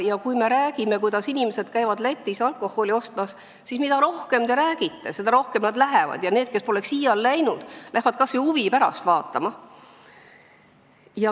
Ja kui me räägime, kuidas inimesed käivad Lätis alkoholi ostmas, siis mida rohkem te räägite, seda rohkem nad lähevad, ja need, kes poleks iial läinud, lähevad kas või huvi pärast vaatama.